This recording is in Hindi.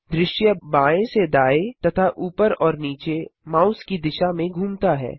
दृश्य सीन बाएँ से दाएँ तथा ऊपर और नीचे माउस की दिशा में घूमता है